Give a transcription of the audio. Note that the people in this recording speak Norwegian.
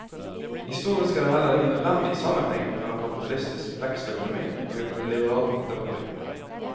Historisk er det heller ingen nødvendig sammenheng mellom kapitalistisk vekstøkonomi og et liberalt demokrati.